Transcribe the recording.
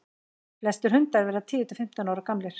flestir hundar verða tíu til fimmtán ára gamlir